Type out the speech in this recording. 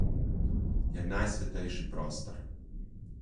Je najsvetejši prostor.